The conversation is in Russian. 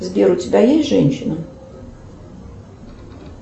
сбер у тебя есть женщина